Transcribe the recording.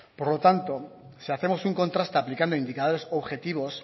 por lo tanto si hacemos un contraste aplicando indicadores objetivos